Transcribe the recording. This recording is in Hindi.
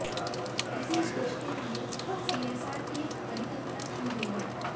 इसी उद्देश्य के लिए सीएसआर की परिकल्पना की गई है